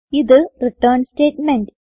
ഇത് return statement